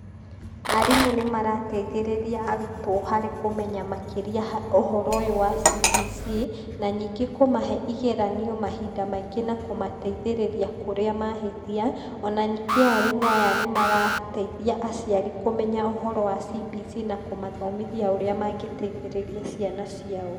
Arimũ nĩ marateithĩrĩria arutwo harĩ kũmenya makĩria ha ũhoro ũyũ wa CBC, na nyingĩ kũmahe igeranio mahinda maingĩ na kũmateithĩrĩria kũrĩa mahĩtia. Ona ningĩ arimũ aya nĩ marateithia aciari kũmenya ũhoro wa CBC na kũmathomithia ũrĩa mangĩteithĩrĩria ciana ciao.